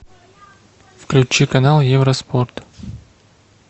включи канал евроспорт